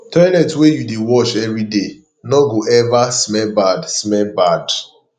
toilet wey you dey wash every day no go ever smell bad smell bad